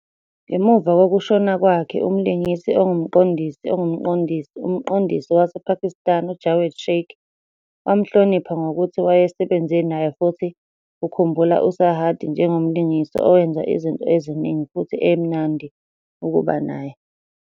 Ngemuva kokushona kwakhe, umlingisi ongumqondisi ongumqondisi, umqondisi wasePakistan uJawed Sheikh wamhlonipha ngokuthi wayesebenze naye futhi ukhumbula uSarhadi njengomlingisi owenza izinto eziningi futhi emnandi ukuba naye.